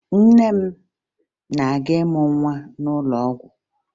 Nne m na-aga ịmụ nwa n'ụlọ ọgwụ